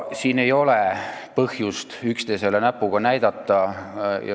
Siin ei ole põhjust üksteisele näpuga näidata.